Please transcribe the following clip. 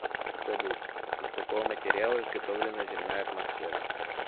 салют из какого материала изготовлено земная атмосфера